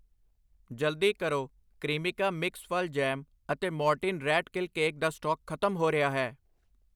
ਜਲਦੀ ਕਰੋ, ਕ੍ਰਇਮਿਕਾ ਮਿਕਸ ਫਲ ਜੈਮ ਅਤੇ ਮੋਰਟੀਨ ਰੈਟ ਕਿਲ ਕੇਕ ਦਾ ਸਟਾਕ ਖਤਮ ਹੋ ਰਿਹਾ ਹੈ I